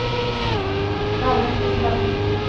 Valentin Wallin